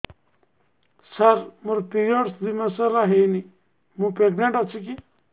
ସାର ମୋର ପିରୀଅଡ଼ସ ଦୁଇ ମାସ ହେଲା ହେଇନି ମୁ ପ୍ରେଗନାଂଟ ଅଛି କି